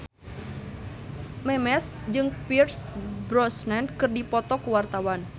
Memes jeung Pierce Brosnan keur dipoto ku wartawan